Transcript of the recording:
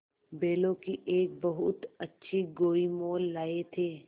बैलों की एक बहुत अच्छी गोई मोल लाये थे